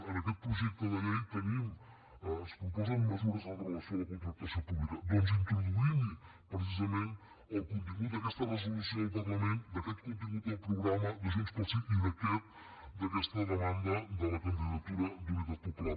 en aquest projecte de llei es proposen mesures amb relació a la contractació pública doncs introduïm hi precisament el contingut d’aquesta resolució del parlament d’aquest contingut del programa de junts pel sí i d’aquesta demanda de la candidatura d’unitat popular